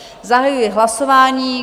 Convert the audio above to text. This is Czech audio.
Zahajuji hlasování.